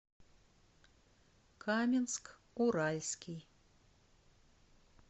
каменск уральский